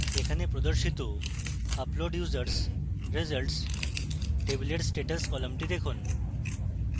এখানে প্রদর্শিত upload users results table status কলামটি দেখুন